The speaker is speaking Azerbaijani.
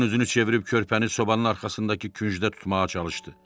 Qadın üzünü çevirib körpəni sobanın arxasındakı küncdə tutmağa çalışdı.